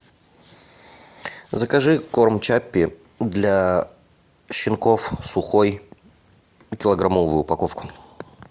закажи корм чаппи для щенков сухой килограммовую упаковку